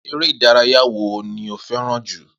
Eré ìdárayá wo ni o fé̩ràn jù?